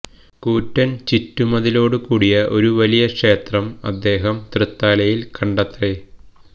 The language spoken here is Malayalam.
കൂറ്റൻ ചുറ്റുമതിലോടു കൂടിയ ഒരു വലിയ ക്ഷേത്രം അദ്ദേഹം തൃത്താലയിൽ കണ്ടത്രെ